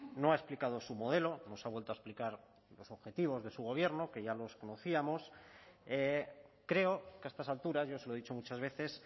no ha explicado su modelo nos ha vuelto a explicar los objetivos de su gobierno que ya los conocíamos creo que a estas alturas yo se lo he dicho muchas veces